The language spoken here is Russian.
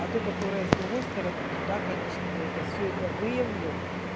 а ту которая с другой стороны то да конечно я это всё это выявлю